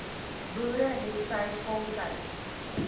boere hetsy voltyds